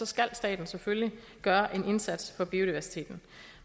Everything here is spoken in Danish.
skal staten selvfølgelig gøre en indsats for biodiversiteten